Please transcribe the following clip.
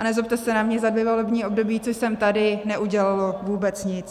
A nezlobte se na mě, za dvě volební období, co jsem tady, neudělalo vůbec nic.